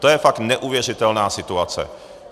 To je fakt neuvěřitelná situace.